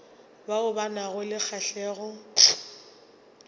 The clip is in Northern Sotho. bao ba nago le kgahlego